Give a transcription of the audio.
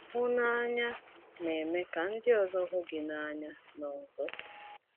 Hụnanya na - eme ka ndị ọzọ hụ gị n’anya n’ọzọ.